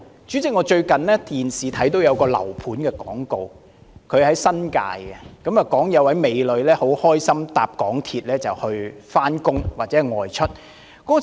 主席，我最近在電視上看到一個新界樓盤的廣告，廣告中有位美女很開心地乘搭港鐵上班或外出。